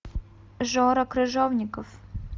жора крыжовников